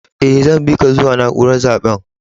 Eh, zan bi ka zuwa naúrar zaben.